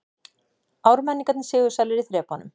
Ármenningar sigursælir í þrepunum